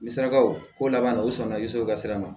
Ni sarakaw ko laban na u sɔnna i so ka sira ma